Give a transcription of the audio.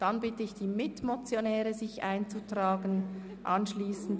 Dabei wirken sich CHF 150 000 durch eine Reduktion der Mietfläche resp.